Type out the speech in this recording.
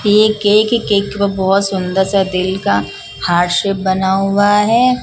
Cake cake बहुत सुंदर सा दिल का हार्ट शेप बना हुआ है।